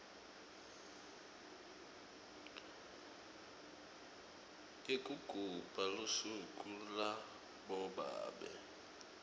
yekugubha lusuku labobabe